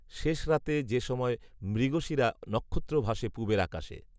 শেষ রাতে যে সময়ে মৃগশিরা নক্ষত্র ভাসে পুবের আকাশে